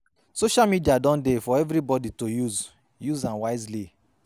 Social media don dey for evribodi to use, use am wisely